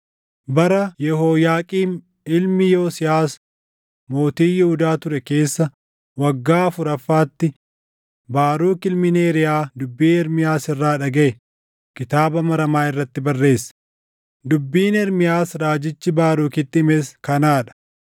Bara Yehooyaaqiim ilmi Yosiyaas mootii Yihuudaa ture keessa waggaa afuraffaatti Baaruk ilmi Neeriyaa dubbii Ermiyaas irraa dhagaʼe kitaaba maramaa irratti barreesse; dubbiin Ermiyaas raajichi Baarukitti himes kanaa dha: